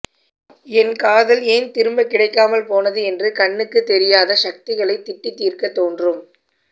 என் காதல் ஏன் திரும்பக் கிடைக்காமல் போனது என்று கண்ணுக்குத் தெரியாத சக்திகளைத் திட்டித் தீர்க்கத் தோன்றும்